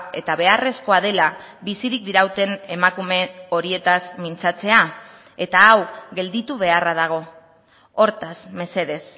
eta beharrezkoa dela bizirik dirauten emakume horietaz mintzatzea eta hau gelditu beharra dago hortaz mesedez